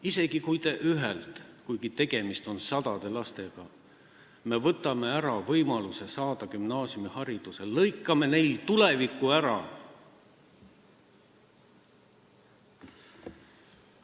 Isegi kui me ühelt lapselt – kuigi tegemist on praegu sadade lastega – võtame ära võimaluse saada gümnaasiumiharidus, siis me lõikame tal tuleviku ära.